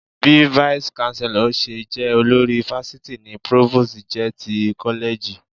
Bí Vice Chancellor ṣe jẹ́ olórí fásitì ni Provost jẹ́ ti kọ́lẹ́ẹ̀jì